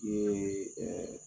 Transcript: Ee ɛɛ